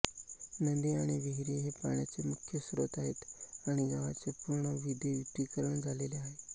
नदी आणि विहिरी हे पाण्याचे मुख्य स्रोत आहेत आणि गावाचे पूर्ण विदयुतीकरण झालेले आहे